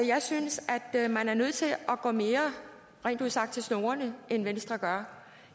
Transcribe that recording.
jeg synes at man er nødt til at gå mere rent ud sagt til snorene end venstre gør